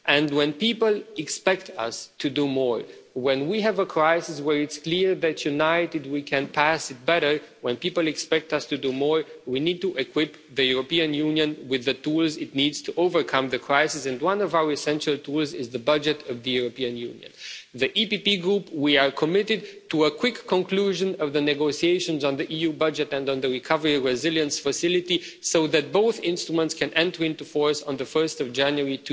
When people expect us to do more, when we have a crisis where it's clear that united we can pass through it better, when people expect us to do more, we need to equip the European Union with the tools it needs to overcome the crisis. And one of our essential tools is the budget of the European Union. In the EPP group, we are committed to a quick conclusion of the negotiations on the EU budget and on the Recovery and Resilience Facility, so that both instruments can enter into force on 1 January